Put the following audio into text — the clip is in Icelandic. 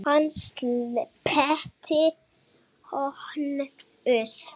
Hann sleppti honum!